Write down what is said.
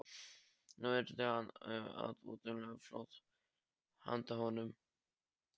Nú yrði hann að útvega mjólk handa honum.